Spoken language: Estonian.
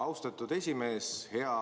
Austatud esimees!